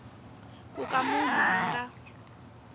ku ka munhu a nga